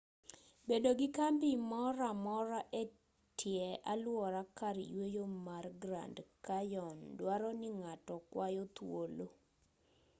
bedo gi kambi moramora etie aluora kar yueyo mar grand canyon dwaroni ng'ato kwayo thuolo